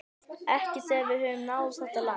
Ekki þegar við höfum náð þetta langt